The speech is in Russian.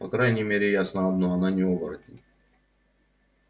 по крайней мере ясно одно она не оборотень